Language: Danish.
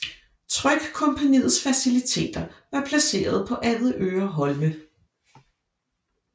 Trykkompagniets faciliteter var placeret på Avedøre Holme